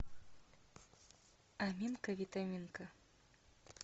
аминка витаминка